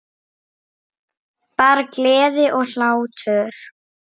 Bara gleði og hlátur.